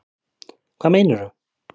Hvað meinarðu?